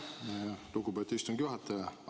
Aitäh, lugupeetud istungi juhataja!